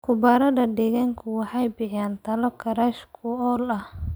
Khubarada deegaanku waxay bixiyaan talo kharash-ku-ool ah.